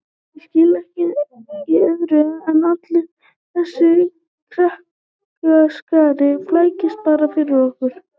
Ég skil nú ekki í öðru en allur þessi krakkaskari flækist bara fyrir honum